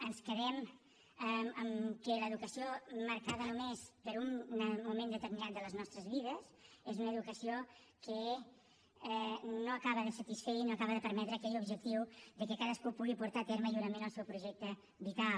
ens quedem que l’educació marcada només per un moment determinat de les nostres vides és una educació que no acaba de satisfer i no acaba de permetre aquell objectiu que cadascú pugui portar a terme lliurement el seu projecte vital